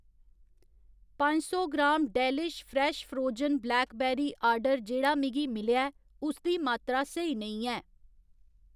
पंज सौ gram delish fresh frozen blackberry order जेह्ड़ा मिगी मिलेआ ऐ, उसदी मात्तरा स्हेई नेईं ऐ।